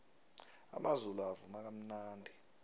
amazulu avuma kamnandi